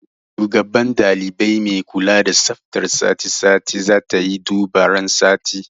Shugaban ɗalibai mai kula da tsaftar sati sati zatayi duba ran sati